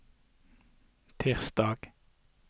tirsdag